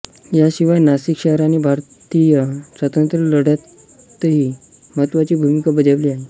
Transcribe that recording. याशिवाय नाशिक शहराने भारतीय स्वातंत्र्यलढ्यातही महत्त्वाची भूमिका बजावली आहे